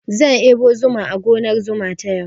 Zan ɗebo zuma a gonar zuma ta yau.